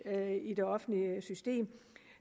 i det offentlige system